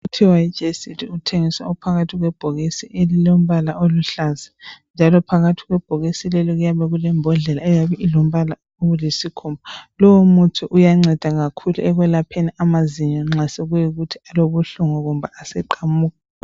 Kuthiwa yiGECID. Uthengiswa uphakathi kwebhokisi elilombala oluhlaza, njalo phakathi kwebhokisi lelo kuyabe kulembodlela eyabe ilombala olisikhumba. Lowomuthi uyanceda kakhulu, ekwelapheni amazinyo, nxa sekuyikuthi alobuhlungu, kumbe aseqamuka.